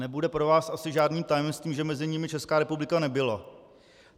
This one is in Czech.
Nebude pro vás asi žádným tajemstvím, že mezi nimi Česká republika nebyla.